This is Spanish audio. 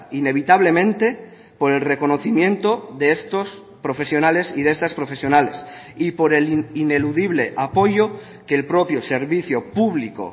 inevitablemente por el reconocimiento de estos profesionales y de estas profesionales y por el ineludible apoyo que el propio servicio público